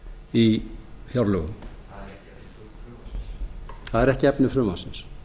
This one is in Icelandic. í fjárlögum það er ekki efni frumvarpsins